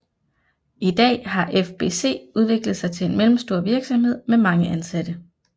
I dag har FBC udviklet sig til en mellemstor virksomhed med mange ansatte